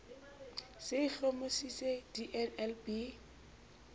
se e hlomamisitse di nlb